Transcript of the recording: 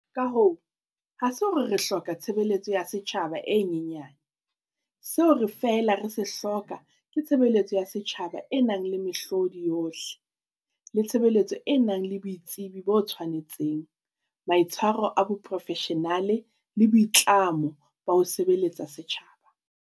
Ka hoo, ha se hore re hloka tshe beletso ya setjhaba e nyenya ne- seo re feela re se hloka ke tshebeletso ya setjhaba e nang le mehlodi yohle e tshe betso e nang le boitsebi bo tshwanetseng, maitshwaro a boprofeshenale le boitlamo ba ho sebeletsa setjhaba.